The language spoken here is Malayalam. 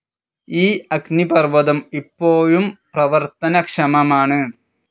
ഈ അഗ്നിപർവതം ഇപ്പോഴും പ്രവർത്തനക്ഷമമാണ്.